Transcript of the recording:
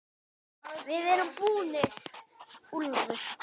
VIÐ ERUM BÚNIR, ÚLFUR!